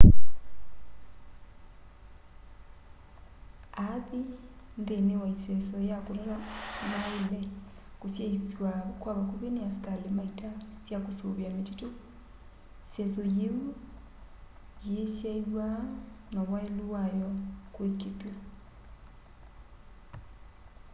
aathi nthini wa iseso ya kutata maaile kusyaiisw'a kwa vakuvi ni asikali ma ita sya kusuvia mititu iseso yiu yiisyaiiw'a na wailu wayo kuikiithwa